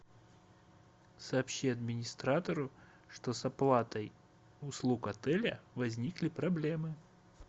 сообщи администратору что с оплатой услуг отеля возникли проблемы